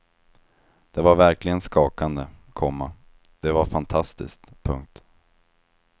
Det var verkligen skakande, komma det var fantastiskt. punkt